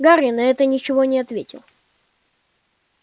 гарри на это ничего не ответил